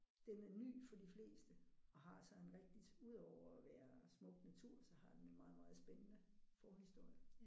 Den er ny for de fleste og har så en rigtigt ud over at være smuk natur så har den en meget meget spændende forhistorie ja